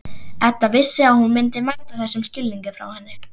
Edda vissi að hún myndi mæta þessum skilningi frá henni.